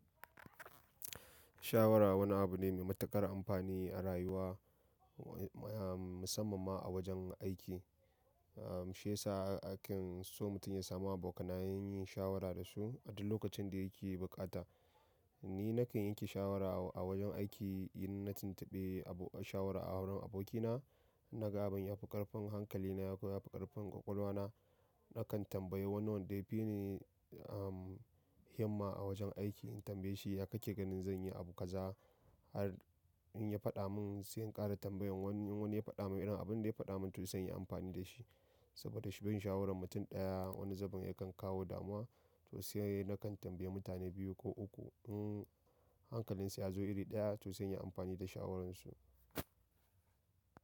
Shawara wani abu ne mai matuƙar amfani a rayuwa, musamman ma a wajen aiki? Shi yasa akan so mutum ya samu abokanayen shawara da su, a duk lokacin da yake buƙata. Ni nakan yanke shawara a wajen aiki, in na tuntuɓi abokan shawara a wurin abokina, in na ga abun yafi ƙarfin hankalina ko yafi ƙarfin ƙwaƙwalwa na. Nakan tambayi wani wanda ya fi ni himma a wajen aiki, in tambaye shi ya kake ganin zan yi abu kaza? Har in ya faɗa mun sai in ƙara tambayan wani. In wani ya faɗa mun irin abunda ya faɗa mun to sai in yi amfani da shi. Saboda shi bin shawaran mutum ɗaya wani zaban yakan kawo damuwa, to sai nakan tambaye mutane biyu ko uku. In hankalinsu ya zo iri ɗaya, to sai in yi amfani da shawararsu.